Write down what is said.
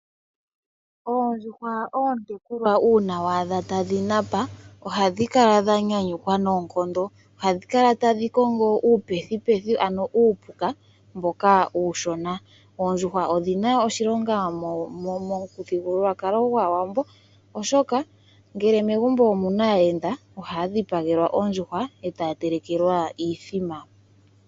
Oondjuhwa oontekulwa uuna wa adha tadhi napa ohadhi kala dha nyanyukwa noonkondo. Ohadhi kala tadhi kongo iipethipethi, ano uupuka mboka uushona. Oondjuhwa odhi na oshilonga momuthigululwakalo gwAawambo, oshoka ngele megumbo omu na aayenda ohaya dhipagelwa ondjuhwa e taya telekelwa iimbombo.